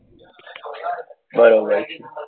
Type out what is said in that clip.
બરોબર છે